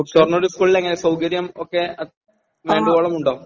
ഷൊർണൂർ സ്കൂളിലെങ്ങനെ? സൗകര്യം ഒക്കെ വേണ്ടുവോളം ഉണ്ടോ?